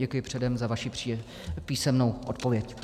Děkuji předem za vaši písemnou odpověď.